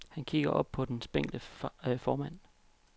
Han kigger op på den spinkle formand.